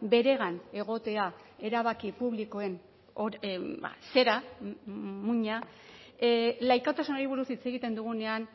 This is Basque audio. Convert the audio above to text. beregan egotea erabaki publikoen zera muina laikotasunari buruz hitz egiten dugunean